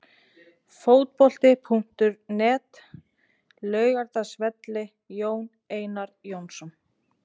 Fótbolti.net, Laugardalsvelli- Jón Einar Jónsson.